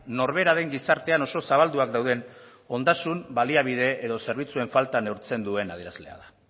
norberaren gizartean oso zabalduak dauden ondasun baliabide edo zerbitzuen falta neurtzen duena adierazlea da